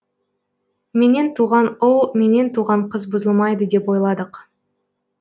менен туған ұл менен туған қыз бұзылмайды деп ойладық